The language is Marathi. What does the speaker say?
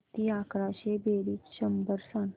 किती अकराशे बेरीज शंभर सांग